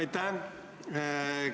Aitäh!